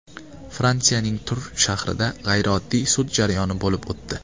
Fransiyaning Tur shahrida g‘ayrioddiy sud jarayoni bo‘lib o‘tdi.